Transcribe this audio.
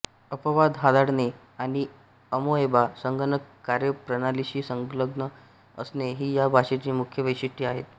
अपवाद हाताळणे आणि अमोएबा संगणक कार्यप्रणालीशी संलग्न असणे हि या भाषेची मुख्य वैशिष्ठ्ये आहेत